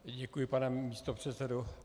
Děkuji, pane místopředsedo.